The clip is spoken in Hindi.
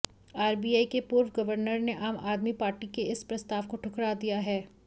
आरबीआई के पूर्व गवर्नर ने आम आदमी पार्टी के इस प्रस्ताव को ठुकरा दिया है